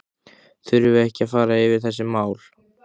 Þurfum við ekki að fara yfir þessi mál?